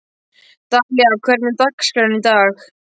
Dalía, hvernig er dagskráin í dag?